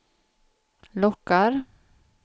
lockar